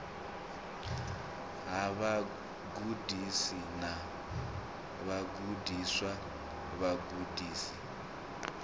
ha vhagudisi na vhagudiswa vhagudisi